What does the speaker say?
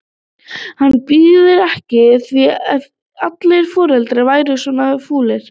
Hann byði ekki í það ef allir foreldrar væru svona fúlir.